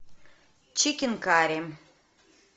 чикен карри